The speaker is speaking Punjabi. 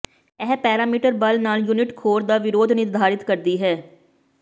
ਇਹ ਪੈਰਾਮੀਟਰ ਬਲ ਨਾਲ ਯੂਨਿਟ ਖੋਰ ਦਾ ਵਿਰੋਧ ਨਿਰਧਾਰਿਤ ਕਰਦੀ ਹੈ